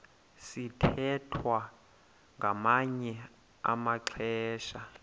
sithwethwa ngamanye amaxesha